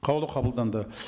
қаулы қабылданды